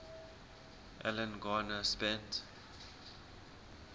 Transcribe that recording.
alan garner spent